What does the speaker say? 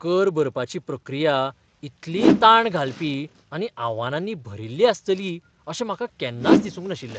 कर भरपाची प्रक्रिया इतली ताण घालपी आनी आव्हानांनी भरिल्ली आसतली अशें म्हाका केन्नाच दिसूंक नाशिल्लें.